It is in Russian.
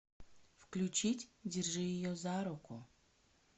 включить держи ее за руку